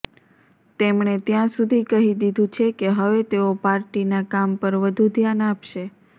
તેમણે ત્યાં સુધી કહી દીધું છે કે હવે તેઓ પાર્ટીના કામ પર વધુ ધ્યાન આપશે